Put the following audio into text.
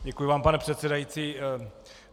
Děkuji vám, pane předsedající.